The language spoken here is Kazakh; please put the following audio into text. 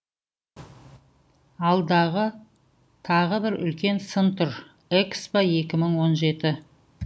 алда тағы бір үлкен сын тұр экспо екі мың он жеті